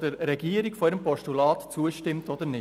der Regierung zu Ziffer 1 als Postulat zustimmt oder nicht.